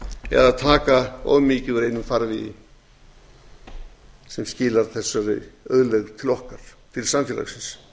eða taka of mikið af einum farvegi sem skilar þessari auðlegð til okkar til samfélagsins